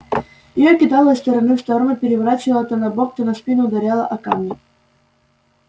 его кидало из стороны в сторону переворачивало то на бок то на спину ударяло о камни